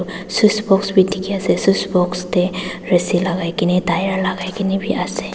switch box bi dikhi ase switch box te rasi lagai kena tyre lagai kena bi ase.